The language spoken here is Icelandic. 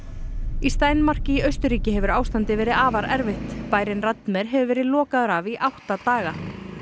í Steinmark í Austurríki hefur ástandið verið afar erfitt bærinn hefur verið lokaður af í átta daga